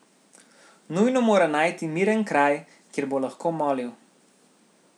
Nujno mora najti miren kraj, kjer bo lahko molil.